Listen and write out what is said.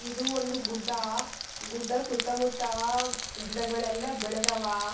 ಅಹ್ ಮತ್ತೆ ಆಮೇಲೆ ಕೂಡ ಫ್ಯಾಮಿಲಿ‌ ಟ್ರಿಪ್ ಅಂತೆಲ್ಲಾ ಹೋಗ್ತಾ ಇದ್ದೆ.